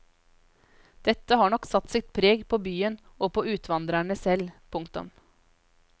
Dette har nok satt sitt preg både på byen og på utvandrerne selv. punktum